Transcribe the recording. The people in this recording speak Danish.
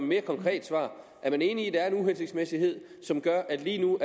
mere konkret svar er man enig i at der er en uhensigtsmæssighed som gør at det lige nu